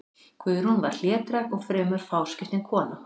Guðrún var hlédræg og fremur fáskiptin kona.